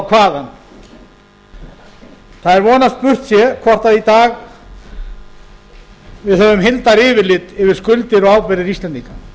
hvaðan það er von að spurt sé hvort við höfum í dag heildaryfirlit yfir skuldir og ábyrgðir íslendinga